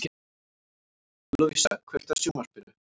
Lovísa, kveiktu á sjónvarpinu.